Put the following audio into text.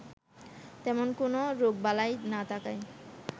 তেমন কোনো রোগবালাই না থাকায়